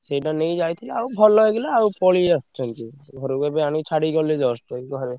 ସେଇଟା ନେଇକି ଯାଇଥିଲି ଆଉ ଭଲ ହେଇଗଲେ ଆଉ ପଳେଇ ଆସି ଛନ୍ତି~। ଘରୁକୁ ଏବେ ଆଣି ଛାଡିକି ଗଲେ just ଏଇ।